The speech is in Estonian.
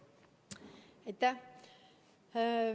Aitäh!